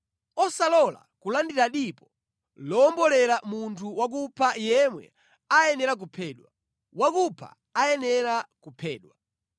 “ ‘Osalola kulandira dipo lowombolera munthu wakupha yemwe ayenera kuphedwa. Wakupha ayenera kuphedwa.